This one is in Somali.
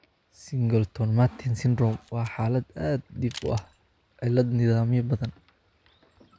Singleton Merten syndrome waa xaalad aad dhif u ah, cillad nidaamyo badan.